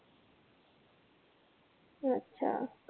अच्छा.